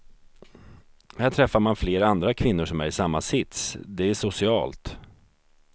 Här träffar man flera andra kvinnor som är i samma sits, det är socialt.